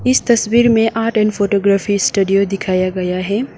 इस तस्वीर में आर्ट एंड फोटोग्राफी स्टूडियो दिखाया गया है।